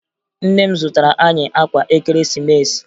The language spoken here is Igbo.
Nne m zụtara anyị akwa Ekeresimesi